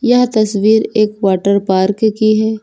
यह तस्वीर एक वाटर पार्क की है।